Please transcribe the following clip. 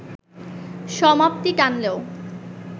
সমাপ্তি টানলেও